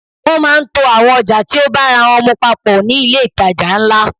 Wọ́n máà ń to àwọn ọjà tí o bára wọ́n mu papọ̀ ní ilé ìtajà ńlá.